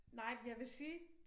Nej men jeg vil sige